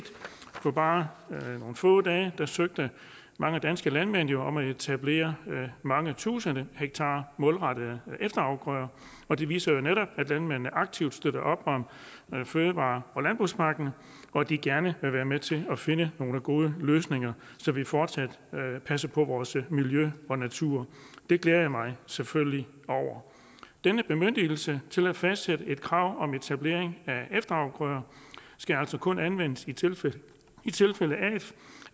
på bare nogle få dage søgte mange danske landmænd jo om at etablere mange tusind hektar målrettede efterafgrøder og det viser jo netop at landmændene aktivt støtter op om fødevare og landbrugspakken og at de gerne vil være med til at finde nogle gode løsninger så vi fortsat passer på vores miljø og natur det glæder jeg mig selvfølgelig over denne bemyndigelse til at fastsætte krav om etablering af efterafgrøder skal altså kun anvendes i tilfælde